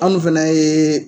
Anw fana ye